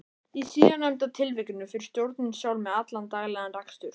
Í síðarnefnda tilvikinu fer stjórnin sjálf með allan daglegan rekstur.